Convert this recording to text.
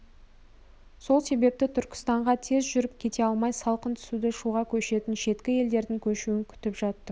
сол себепті түркістанға тез жүріп кете алмай салқын түсуді шуға көшетін шеткі елдердің көшуін күтіп жаттым